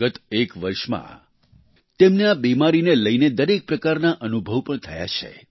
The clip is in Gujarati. ગત એક વર્ષમાં તેમને આ બિમારીને લઈને દરેક પ્રકારના અનુભવ પણ થયા છે